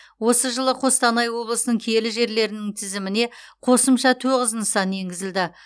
осы жылы қостанай облысының киелі жерлерінің тізіміне қосымша тоғыз нысан енгізілді